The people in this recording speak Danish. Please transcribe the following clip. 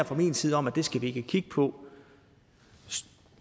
fra min side om at det skal vi ikke kigge på